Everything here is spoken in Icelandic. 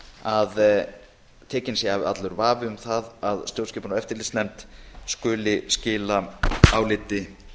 að tekinn sé af allur vafi um að stjórnskipunar og eftirlitsnefnd skuli skila áliti